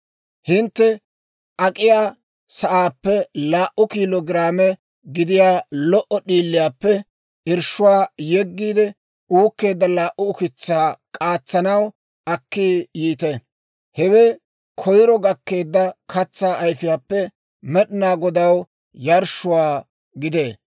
Hintte ak'iyaa sa'aappe laa"u kiilo giraame gidiyaa lo"o d'iiliyaappe irshshuwaa yeggiide uukkeedda laa"u ukitsaa k'aatsanaw akki yiite. Hewe koyiro gakkeedda katsaa ayfiyaappe Med'inaa Godaw yarshshuwaa gidee.